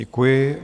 Děkuji.